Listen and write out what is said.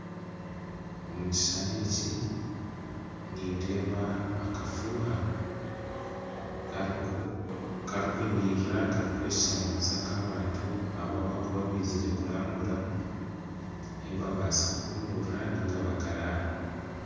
Ekishushani eki nindeeba akafuuha karungi ahu abantu abarikwija kurambura ahu barikubaasa kwija kuhumuurira ninga bakaraara.